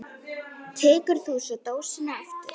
Tekur þú svo dósina aftur?